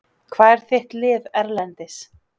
Hvað er þitt lið Erlendis?